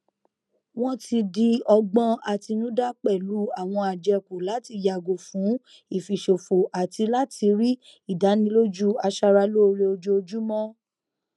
wọn ti di ọgbọn àtinúdá pẹlú àwọn àjẹkù láti yàgò fún ìfiṣòfò àti láti rí ìdánilójú aṣara lóore ojoojúmọ